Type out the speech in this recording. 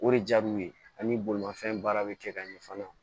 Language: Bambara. O de diyar'u ye ani bolimafɛn baara bɛ kɛ ka ɲɛ fana